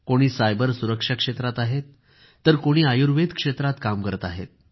कोणी सायबर सुरक्षा क्षेत्रात आहेत तर कोणी आयुर्वेद क्षेत्रात काम करत आहेत